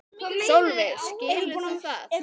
Sólveig: Skilur þú það?